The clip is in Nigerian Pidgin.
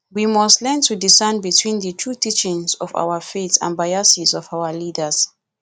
we must learn to discern between di true teachings of our faith and biases of our leaders